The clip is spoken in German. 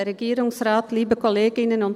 : wenn es sein muss.